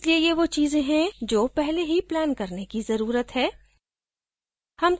और इसलिए ये वो चीज़ें हैं जो पहले ही planned करने की ज़रुरत है